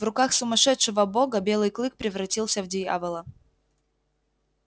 в руках сумасшедшего бога белый клык превратился в дьявола